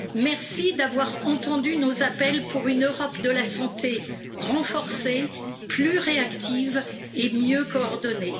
Merci d'avoir entendu nos appels pour une Europe de la santé renforcée, plus réactive et mieux coordonnée.